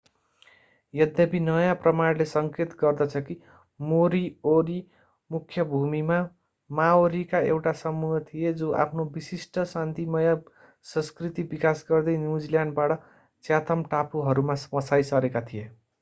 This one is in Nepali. यद्यपि नयाँ प्रमाणले संकेत गर्दछ कि मोरीओरी मुख्य भूमि माओरीका एउटा समूह थिए जो आफ्नो विशिष्ट शान्तिमय संस्कृति विकास गर्दै न्युजिल्यान्डबाट च्याथम टापुहरूमा बसाई सरेका थिए